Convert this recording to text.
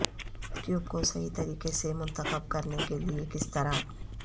cube کو صحیح طریقے سے منتخب کرنے کے لئے کس طرح